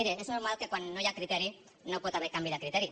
miri és normal que quan no hi ha criteri no hi pot haver canvi de criteri